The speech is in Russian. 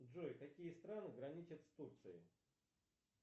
джой какие страны граничат с турцией